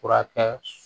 Furakɛ